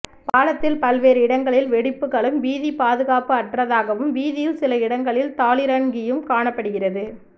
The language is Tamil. பாலத்தில் பல்வேறு இடங்களில் வெடிப்புக்களும் வீதி பாதுகாப்பு அற்றதாகவும் வீதியில் சில இடங்களில் தாளிரன்கியும் காணப்படுகிறது